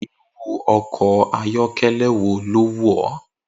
Irú o̩kò̩ ayó̩ké̩lé̩ wo ló wù ó̩?